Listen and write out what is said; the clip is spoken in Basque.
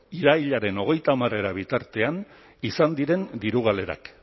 irailaren hogeita hamarera bitartean izan diren diru galerak